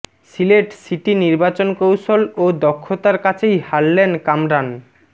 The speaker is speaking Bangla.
সিলেট সিটি নির্বাচন কৌশল ও দক্ষতার কাছেই হারলেন কামরান